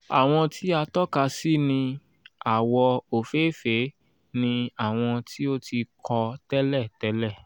àwọn tí a tọ́ka sí ní àwọ̀ òfééfèé ni àwọn tí o ti kọ́ tẹ́lẹ̀ tẹ́lẹ̀.